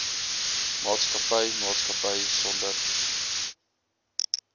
maatskappy maatskappy sonder